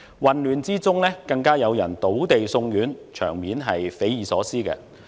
混亂中更有人倒地送院，場面匪夷所思。